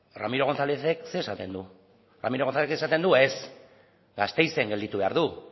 ramiro gonzálezek zer esaten du ramiro gonzalezek esaten du ez gasteizen gelditu behar du